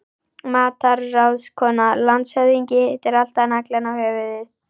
MATRÁÐSKONA: Landshöfðingi hittir alltaf naglann á höfuðið.